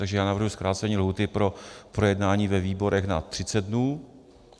Takže já navrhuji zkrácení lhůty pro projednání ve výborech na 30 dnů.